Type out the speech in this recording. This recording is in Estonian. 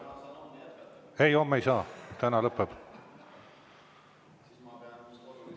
Ei, homme ei saa, täna lõpeb.